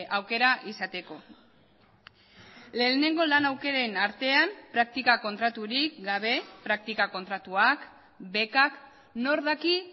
aukera izateko lehenengo lan aukeren artean praktika kontraturik gabe praktika kontratuak bekak nor daki